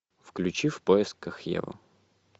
включи в поисках евы